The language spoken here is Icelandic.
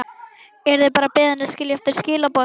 Yrði bara beðin að skilja eftir skilaboð.